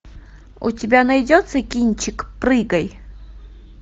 у тебя найдется кинчик прыгай